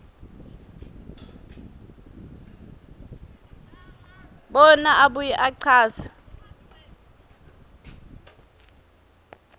bona abuye achaze